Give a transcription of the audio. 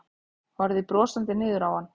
Horfði brosandi niður á hann.